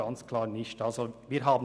Das war klar nicht der Fall.